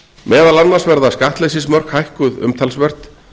meðal annars verða skattleysismörk hækkuð umtalsvert